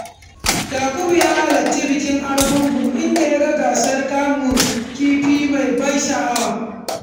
Yakubu ya halarci bikin Argungu inda ya ga gasar kamun kifi mai ban sha’awa.